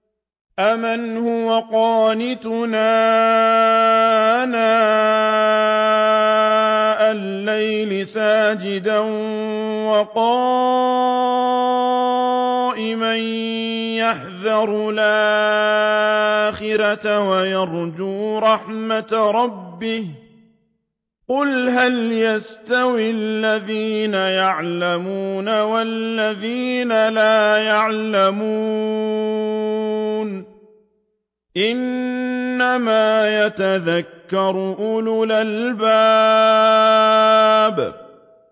أَمَّنْ هُوَ قَانِتٌ آنَاءَ اللَّيْلِ سَاجِدًا وَقَائِمًا يَحْذَرُ الْآخِرَةَ وَيَرْجُو رَحْمَةَ رَبِّهِ ۗ قُلْ هَلْ يَسْتَوِي الَّذِينَ يَعْلَمُونَ وَالَّذِينَ لَا يَعْلَمُونَ ۗ إِنَّمَا يَتَذَكَّرُ أُولُو الْأَلْبَابِ